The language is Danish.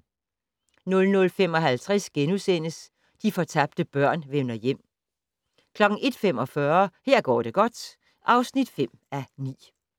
00:55: De fortabte børn vender hjem * 01:45: Her går det godt (5:9)